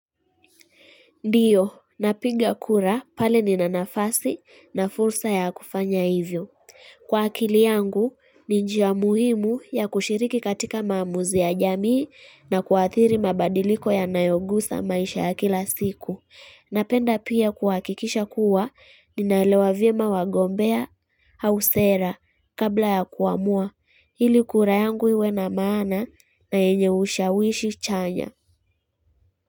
Ndiyo, napiga kura pale nina nafasi na fursa ya kufanya hivyo. Kwa akili yangu, ni njia muhimu ya kushiriki katika maamuzi ya jamii na kuathiri mabadiliko yanayogusa maisha ya kila siku. Napenda pia kuhakikisha kuwa, ninaelewa vyema wagombea au sera kabla ya kuamua. Hili kura yangu iwe na maana na yenye ushawishi chanya.